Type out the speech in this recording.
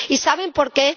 ¿Y saben por qué?